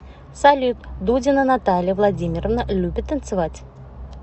салют дудина наталья владимировна любит танцевать